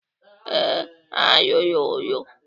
Ee, ha rụrụ.